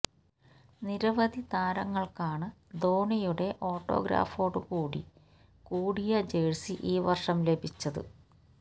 നിരവധി താരങ്ങള്ക്കാണ് ധോണിയുടെ ഓട്ടോഗ്രാഫോടു കൂടി കൂടിയ ജഴ്സി ഈ വര്ഷം ലഭിച്ചത്